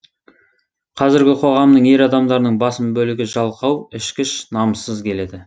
қазіргі қоғамның ер адамдарының басым бөлігі жалқау ішкіш намыссыз келеді